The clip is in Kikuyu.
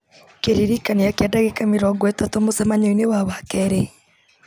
kĩririkania kĩa ndagĩka mĩrongo ĩtatũ mũcemanio-inĩ wa wakerĩ